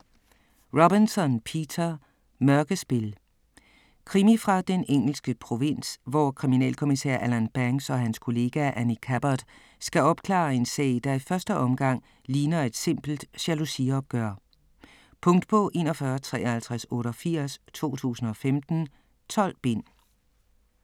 Robinson, Peter: Mørkespil Krimi fra den engelske provins, hvor kriminalkommissær Alan Banks og hans kollega, Annie Cabbot, skal opklare en sag, der i første omgang ligner et simpelt jalousiopgør. Punktbog 415388 2015. 12 bind.